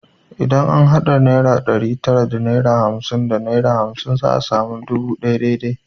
Idan an hada naira ɗari tara da hamsin da naira hamsin za a sami naira dubu ɗaya dai dai